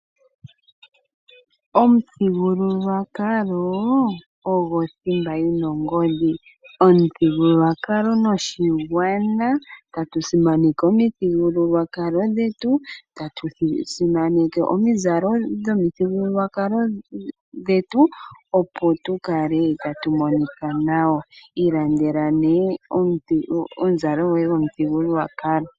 Omuthigululwakalo ogo thimba yi na ongodhi. Omuthigululwakalo noshigwana, ta tu simaneke omithigulwakalo dhetu, ta tu simaneke omizalo dhomithigululwakalo dhetu, opo tu kale ta tu monika nawa. Ilandela ne omuzalo goye gomuthigululwakalo.